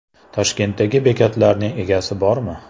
Toshkentdagi bekatlarning egasi bormi?.